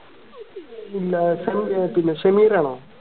ഇല്ല ഷമീർ ആണോ